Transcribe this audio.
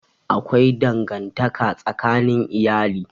Akwai dangantaka tsakanin iyali.